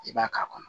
I b'a k'a kɔnɔ